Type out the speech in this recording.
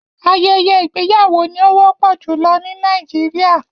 Ayẹyẹ igbeyawo ni o wọpọ julọ ni Nàìjíríà